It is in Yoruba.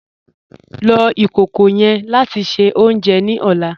Lọ ikókó yẹ́n láti ṣẹ ọ̀unjẹ ní ọ̀là